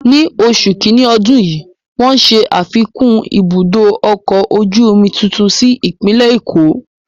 Ni oṣù kiní ọdún yìí, wọ́n ṣe afikún ibùdó ọkọ̀ ojú omi tuntun sí ìpínlẹ̀ Èkó.